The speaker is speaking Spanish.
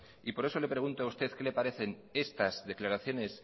y por eso le pregunto a usted qué le parecen estas declaraciones